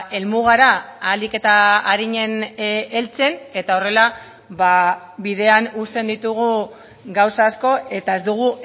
helmugara ahalik eta arinen heltzen eta horrela bidean uzten ditugu gauza asko eta ez dugu